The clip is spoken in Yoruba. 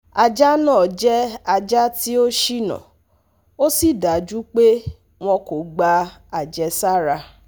Ṣé àfààní kankan wà fún gbígbé àrùn rabies? àrùn rabies? Mo wà nínú ìbẹ̀rù